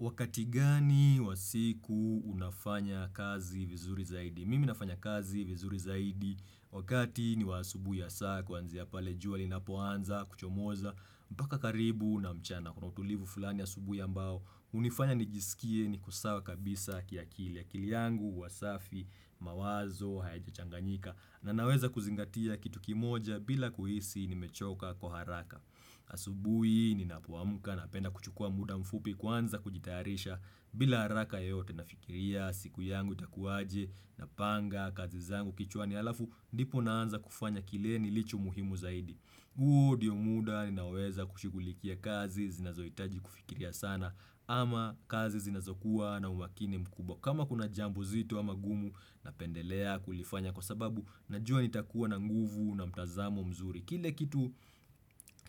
Wakati gani wa siku unafanya kazi vizuri zaidi? Miminafanya kazi vizuri zaidi. Wakati ni wa asubui ya saa kuanzia pale jua linapoanza kuchomoza. Mpaka karibu na mchana. Kuna utulivu fulani asubui ambao. Hunifanya nijisikie niko sawa kabisa kiakili. Akili yangu, huwa safi, mawazo, hayaja changanyika na naweza kuzingatia kitu kimoja bila kuhisi nimechoka kwa haraka. Asubui ninapuamuka napenda kuchukua muda mfupi kuanza kujitayarisha bila haraka yoyote nafikiria siku yangu itakuaje napanga kazi zangu kichwani halafu ndipo naanza kufanya kile nilicho muhimu zaidi. Huo ndio muda ninaweza kushigulikia kazi zinazoitaji kufikiria sana ama kazi zinazokuwa na umakini mkubwa. Kama kuna jambo zito ama gumu napendelea kulifanya kwa sababu najua nitakuwa na nguvu na mtazamo mzuri. Kile kitu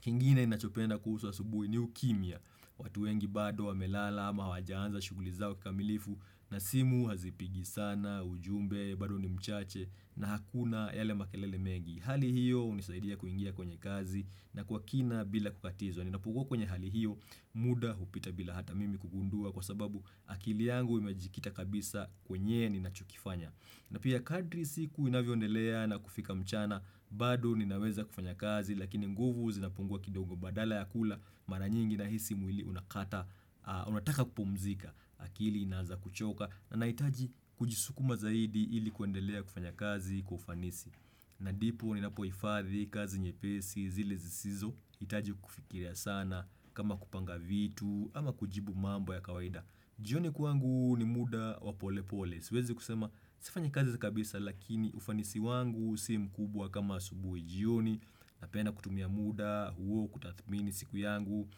kingine nachopenda kuhusu asubuhi ni ukimya. Watu wengi bado wamelala ama hawajaanza shuguli zao kikamilifu na simu hazipigi sana ujumbe bado ni mchache na hakuna yale makelele mengi Hali hiyo hunisaidia kuingia kwenye kazi na kwa kina bila kukatizwa Ninapokuwa kwenye hali hiyo muda hupita bila hata mimi kugundua kwa sababu akili yangu imejikita kabisa kwenye ninachokifanya na pia kadri siku inavyoendelea na kufika mchana, bado ninaweza kufanya kazi, lakini nguvu zinapungua kidongo badala ya kula, maranyingi nahisi mwili unataka kupumzika, akili inaanza kuchoka, na naitaji kujisukuma zaidi ili kuendelea kufanya kazi kwa ufanisi. Na ndipo ninapohifadhi, kazi nyepesi, zile zisizo, hitaji kufikiria sana kama kupanga vitu ama kujibu mambo ya kawaida. Jioni kwangu ni muda wa pole pole. Siwezi kusema, sifanyi kazi za kabisa lakini ufanisi wangu si mkubwa kama asubui jioni. Napenda kutumia muda, huo kutathmini siku yangu,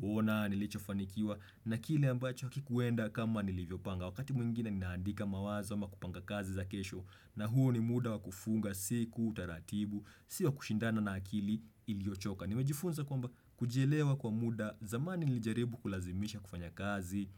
kuona, nilicho fanikiwa. Na kile ambacho hakikuenda kama nilivyopanga. Wakati mwingine ninaandika mawazo ama kupanga kazi za kesho na huo ni muda wakufunga siku, taratibu, si wa kushindana na akili iliochoka. Nimejifunza kwamba kujielewa kwa muda zamani nilijaribu kulazimisha kufanya kazi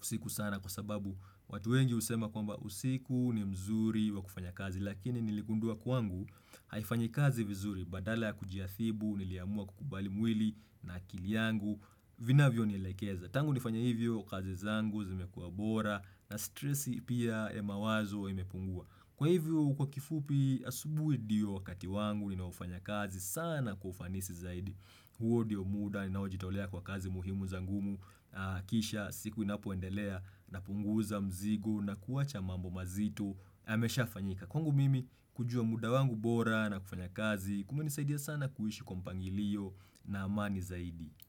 usiku sana kwa sababu watu wengi husema kwamba usiku ni mzuri wa kufanya kazi. Lakini niligundua kwangu haifanyi kazi vizuri badala ya kujiadhibu, niliamua kukubali mwili na akili yangu, vinavyo nielekeza. Tangu nifanya hivyo kazi zangu zimekuwa bora na stressi pia ya mawazo imepungua. Kwa hivyo kwa kifupi asubui ndio wakati wangu ninaofanya kazi sana kwa ufanisi zaidi. Huo ndio muda ninaojitaolea kwa kazi muhimu za ngumu. Kisha siku inapoendelea na punguza mzigo na kuwacha mambo mazito yamesha fanyika. Kwangu mimi kujua muda wangu bora na kufanya kazi kumenisaidia sana kuishi kwa mpangilio na amani zaidi.